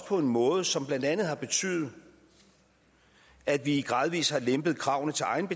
på en måde som blandt andet har betydet at vi gradvis har lempet kravene